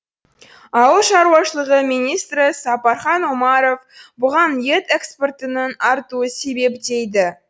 ауыл шаруашылығы министрі сапархан омаров бұған ет экспортының артуы себеп дейді